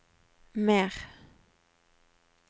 mer